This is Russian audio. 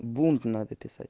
бунт надо писать